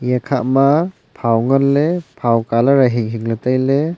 ekhah ma phau ngan ley phau colour a hing hing ley tailey.